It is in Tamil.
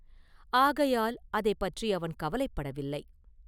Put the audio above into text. ஆகையால் அதைப் பற்றி அவன் கவலைப்படவில்லை.